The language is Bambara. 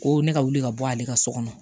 Ko ne ka wuli ka bɔ ale ka so kɔnɔ